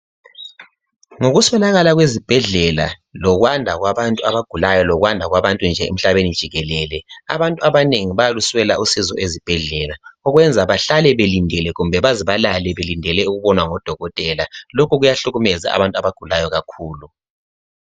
Ngokuswelakala kwezibhedlela lokwanda kwabantu abagulayo, lokwanda kwabantu emhlabeni jikelele abantu abanengi bayaluswela usizo ezibhedlela okwenza bahlale belindele kumbe baze balale belindele ukubonwa ngodokotela, lokho kuyahlukumeza abantu abagulayo kakhulu.